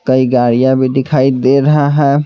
कई गाड़ियां भी दिखाई दे रहा है।